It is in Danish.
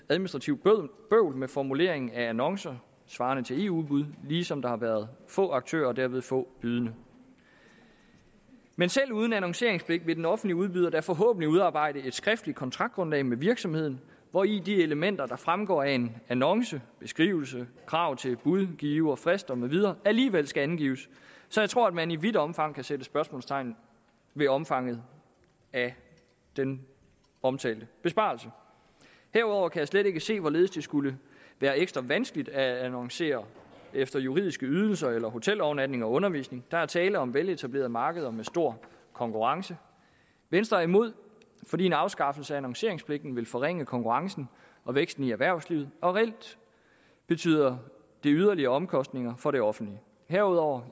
administrativt bøvl med formuleringen af annoncer svarende til eu udbud ligesom der har været få aktører og dermed få bydende men selv uden annonceringspligt vil den offentlige udbyder da forhåbentlig udarbejde et skriftligt kontraktgrundlag med virksomheden hvori de elementer der fremgår af en annonce beskrivelse krav til budgiver frister med videre alligevel skal angives så jeg tror at man i vidt omfang kan sætte spørgsmålstegn ved omfanget af den omtalte besparelse derudover kan jeg slet ikke se hvorledes det skulle være ekstra vanskeligt at annoncere efter juridiske ydelser eller hotelovernatning og undervisning der er tale om veletablerede markeder med stor konkurrence venstre er imod fordi en afskaffelse af annonceringspligten vil forringe konkurrencen og væksten i erhvervslivet og reelt betyder det yderligere omkostninger for det offentlige herudover